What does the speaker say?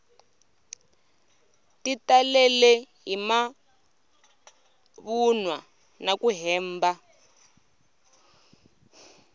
ti talele hi mavunwa naku hemba